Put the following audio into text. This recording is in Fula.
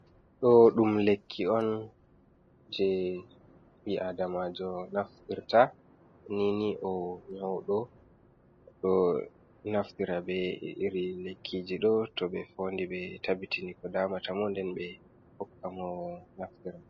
Ɗo ɗum lekki on je ɓi adamajo naftirta ni ni o nyauɗo, ɗo naftira be iri lekkiji ɗo toɓe fondi ɓe tabbitini ko damata mo nden ɓe hokka mo naftira.